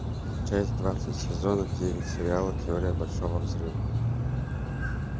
часть двадцать сезона девять сериала теория большого взрыва